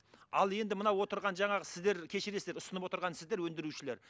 ал енді мына отырған жаңағы сіздер кешірерсіздер ұсынып отырған сіздер өндірушілер